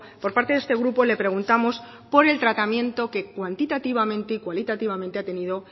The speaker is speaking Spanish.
por parte de este grupo le preguntamos por el tratamiento que cuantitativamente y cualitativamente ha tenido